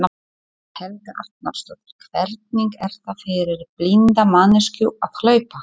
Helga Arnardóttir: Hvernig er það fyrir blinda manneskju að hlaupa?